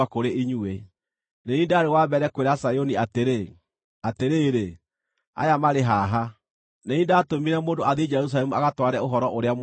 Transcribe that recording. Nĩ niĩ ndaarĩ wa mbere kwĩra Zayuni atĩrĩ, ‘Atĩrĩrĩ, aya marĩ haha!’ Nĩ niĩ ndatũmire mũndũ athiĩ Jerusalemu agatware ũhoro ũrĩa mwega.